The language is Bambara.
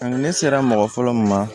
ne sera mɔgɔ fɔlɔ min ma